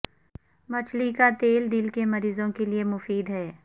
مچھلی کا تیل دل کے مریضوں کے لیے مفید ہے